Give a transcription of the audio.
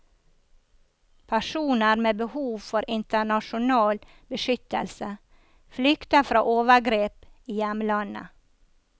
Personer med behov for internasjonal beskyttelse flykter fra overgrep i hjemlandet.